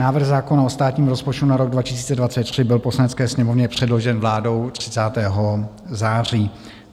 Návrh zákona o státním rozpočtu na rok 2023 byl Poslanecké sněmovně předložen vládou 30. září.